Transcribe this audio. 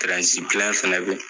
fɛnɛ be yen